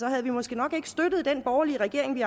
havde måske nok ikke støttet den borgerlige regering vi